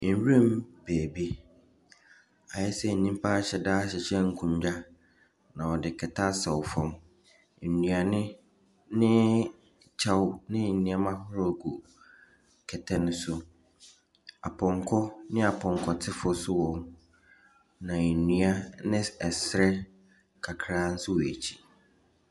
Nwuram baabi, ayɛ sɛ nnipa ahyɛda ahyehyɛ nkonna, na ɔde kɛtɛ asɛ fam. Nnuane ne kyɛw ne nneɛma ahorow gu kɛtɛ no so. Apɔnkɔ ne apɔnkɔtefoɔ nso wɔ hɔ bi. Na nnua ne ɛsrɛ kakra nso wɔ akyi.